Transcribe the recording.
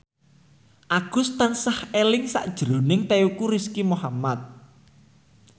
Agus tansah eling sakjroning Teuku Rizky Muhammad